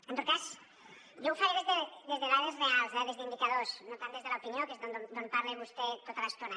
en tot cas jo ho faré des de dades reals eh des d’indicadors no tant des de l’opinió que és des d’on parla vostè tota l’estona